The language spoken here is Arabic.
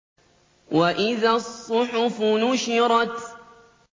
وَإِذَا الصُّحُفُ نُشِرَتْ